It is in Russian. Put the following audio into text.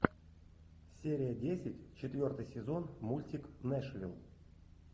серия десять четвертый сезон мультик нэшвилл